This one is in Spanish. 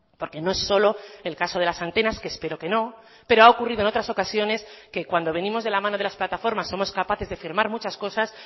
porque no es solo el caso de las antenas que espero que no pero ha ocurrido en otras ocasiones que cuando venimos de la mano de las plataformas somos capaces de firmar muchas cosas